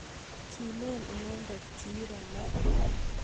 Kilen inendet kiiro ma